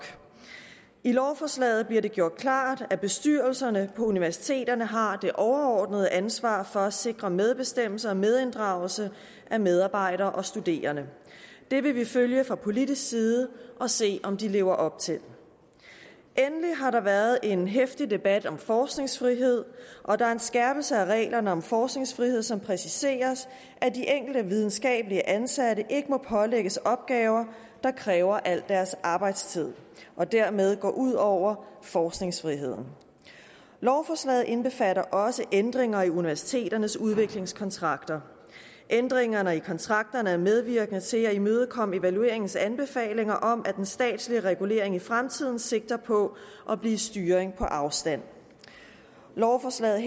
i lovforslaget bliver det gjort klart at bestyrelserne på universiteterne har det overordnede ansvar for at sikre medbestemmelse og medinddragelse af medarbejdere og studerende det vil vi følge fra politisk side og se om de lever op til endelig har der været en heftig debat om forskningsfrihed og der er en skærpelse af reglerne om forskningsfrihed som præciserer at de enkelte videnskabeligt ansatte ikke må pålægges opgaver der kræver al deres arbejdstid og dermed går ud over forskningsfriheden lovforslaget indbefatter også ændringer i universiteternes udviklingskontrakter ændringerne i kontrakterne er medvirkende til at imødekomme evalueringens anbefalinger om at en statslig regulering i fremtiden sigter på at blive styring på afstand lovforslaget